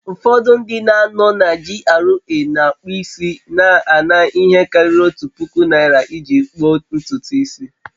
Ufọdụ ndị no na GRA na-akpụ isi na-ana ihe karịrị otu puku naira iji kpuo ntutu isi